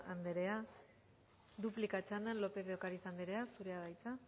andrea duplika txandan lópez de ocariz andrea zurea da hitza